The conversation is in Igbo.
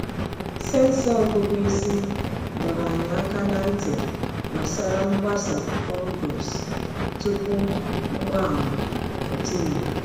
Sensọ ọgụgụ isi dọrọ anyị aka ná ntị gbasara mgbasa fungus tupu mgbaàmà pụta ìhè.